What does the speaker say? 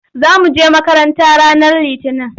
Za mu je makaranta ranar Litinin.